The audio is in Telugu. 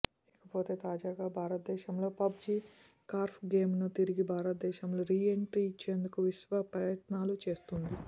ఇకపోతే తాజాగా భారతదేశంలో పబ్ జి కార్ప్ ఆటను తిరిగి దేశంలో రీ ఎంట్రీ ఇచ్చేందుకు విశ్వప్రయత్నాలు చేస్తోంది